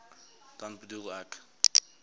dan bedoel ek